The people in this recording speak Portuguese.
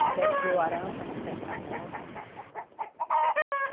que deu arame para a gente cercar as roça.